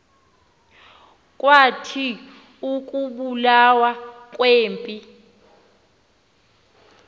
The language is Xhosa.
kwathi ukubulawa kwempi